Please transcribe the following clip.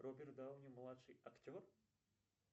роберт дауни младший актер